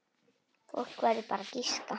Fólk verður bara að giska.